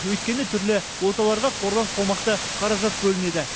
өйткені түрлі оталарға қордан қомақты қаражат бөлінеді